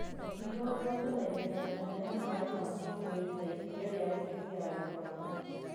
Mũkingo ũgwatanagio na njĩra ya maĩ ma kĩmwĩri ta iria ria mũtumia harĩ mwana.